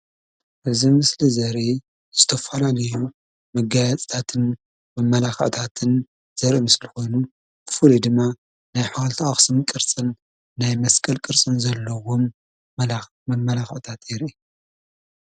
እዚ ምስሊ ዘርኢ ዝተፈላለዩ መገያይፅታትን መመላክዕታትነ ዘሪኢ ምስሊ ኮይኑ ብፉሉይ ድማ ናይ ሓወልቲ አክሱም ቅርፅን ናይ መስቀል ቅርፅን ዘለዎም ናይ መመላክዕታት የርኢ፡፡